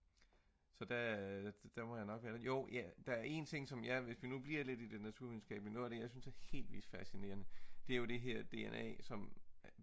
så der jo der er en ting hvis vi nu bliver i det naturvidenskabelige noget af det jeg synes er helt vildt fascinerende det er jo det her dna som